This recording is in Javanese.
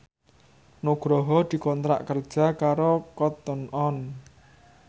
Nugroho dikontrak kerja karo Cotton On